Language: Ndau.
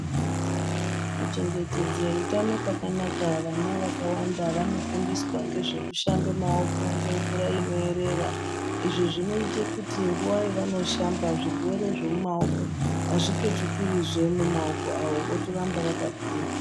Kuchengetedze utano kwakanaka, vana vakawanda vanofundiswa ngezve kushambe maoko, ngemvura inoerera .Izvi zvinoita kuti nguwa yavanoshamba , zvirwere zvemumaoko azvipetukirizve mumaoko avo votoramba vakagwinya.